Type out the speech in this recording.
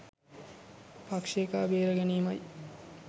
පක්ෂෙ එකා බේරා ගැනීමයි.